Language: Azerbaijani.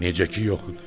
Necə ki yox idi.